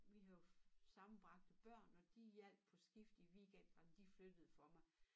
Vi har jo sammenbragte børn og de hjalp på skift i weekenderne de flyttede for mig